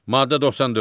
Maddə 94.